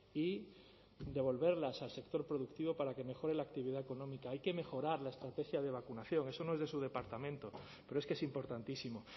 y devolverlas al sector productivo para que mejore la actividad económica hay que mejorar la estrategia de vacunación eso no es de su departamento pero es que es importantísimo